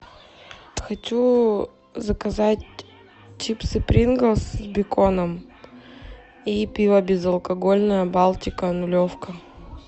хочу заказать чипсы принглс с беконом и пиво безалкогольное балтика нулевка